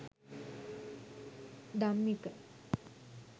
dammika